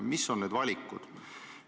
Mis on valikud?